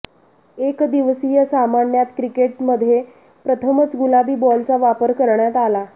एकदिवसीय सामन्यात क्रिकेटमध्ये प्रथमच गुलाबी बॉलचा वापर करण्यात आला